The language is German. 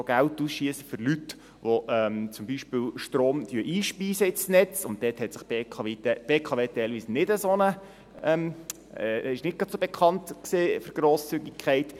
Sie schiesst auch Geld ein von Leuten, die zum Beispiel Strom ins Netz einspeisen, und dort war die BKW teilweise nicht gerade bekannt für Grosszügigkeit.